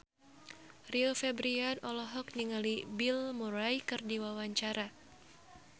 Rio Febrian olohok ningali Bill Murray keur diwawancara